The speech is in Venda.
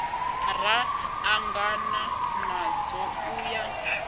ra ṱangana nadzo u ya